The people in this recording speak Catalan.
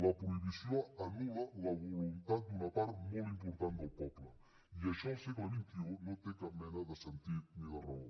la prohibició anul·la la voluntat d’una part molt important del poble i això al segle xxide sentit ni de raó